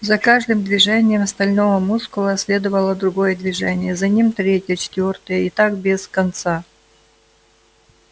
за каждым движением стального мускула следовало другое движение за ним третье четвёртое и так без конца